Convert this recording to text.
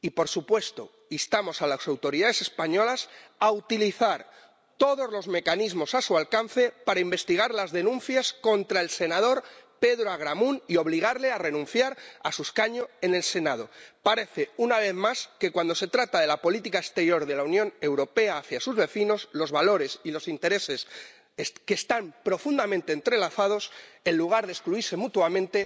Y por supuesto, instamos a las autoridades españolas a utilizar todos los mecanismos a su alcance para investigar las denuncias contra el senador Pedro Agramunt y obligarle a renunciar a su escaño en el Senado. Parece, una vez más, que cuando se trata de la política exterior de la Unión Europea hacia sus vecinos, los valores y los intereses, que están profundamente entrelazados en lugar de excluirse mutuamente,